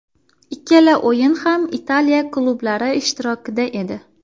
Ikkala o‘yin ham Italiya klublari ishtirokida edi .